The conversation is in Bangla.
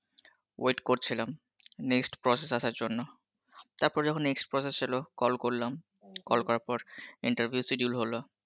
wait করছিলাম next process আসার জন্য, তার পরে যখন next process এলো, call করলাম, করার পর interview schedule হলো